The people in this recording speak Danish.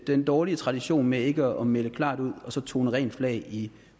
den dårlige tradition med ikke at melde klart ud og så tone rent flag i